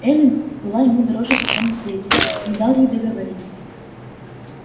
эллин была ему дороже всего на свете не дал ей договорить